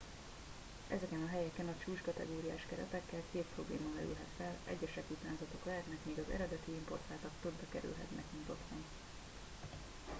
ezeken a helyeken a csúcskategóriás keretekkel két probléma merülhet fel egyesek utánzatok lehetnek míg az eredeti importáltak többe kerülhetnek mint otthon